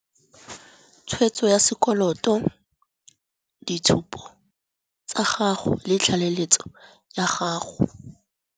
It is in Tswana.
Tshwetso ya sekoloto, ditshupo tsa gago le tlaleletso ya gago.